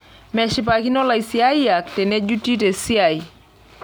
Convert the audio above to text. Meshipakino laisiyiak tenejuti tesiai.